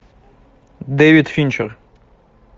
дэвид финчер